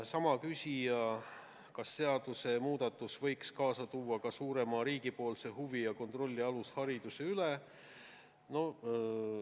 Sama küsija küsis, kas seaduse muudatus võiks kaasa tuua suurema riigipoolse huvi ja kontrolli alushariduse üle?